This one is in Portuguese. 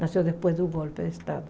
Nasceu depois do golpe de estado.